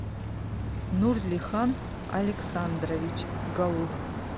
нурлихан александрович голых